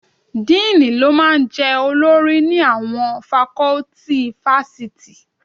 Díìnì ló máa ń jẹ́ olórí ni àwọn fakọ́tì fásitì